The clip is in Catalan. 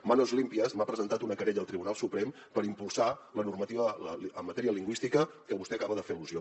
manos limpias m’ha presentat una querella al tribunal suprem per impulsar la normativa en matèria lingüística a què vostè acaba de fer al·lusió